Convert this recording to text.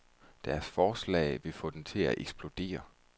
Deres forslag vil få den til at eksplodere.